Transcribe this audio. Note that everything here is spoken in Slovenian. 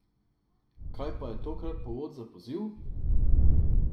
Kaj pa je tokrat povod za poziv?